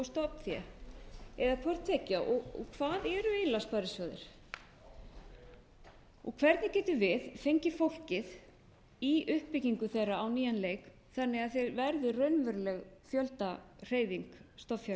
stofnfé eða hvort tveggja hvað eru eiginlega sparisjóðir hvernig getum við fengið fólkið í uppbyggingu þeirra á nýjan leik þannig að þeir verði raunveruleg fjöldahreyfing stofnfjáreigenda